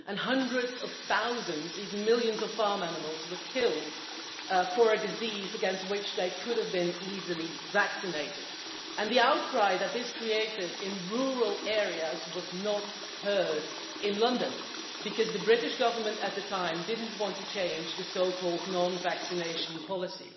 Hundreds of thousands, even millions, of farm animals were killed on account of a disease against which they could have been easily vaccinated, and the outcry that this created in rural areas was not heard in London because the British Government at the time did not want to change the so called non vaccination policy.